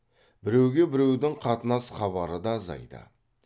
біреуге біреудің қатынас хабары да азайды